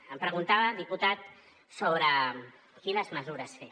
em preguntava diputat sobre quines mesures fer